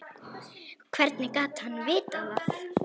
Hvernig gat hann vitað það.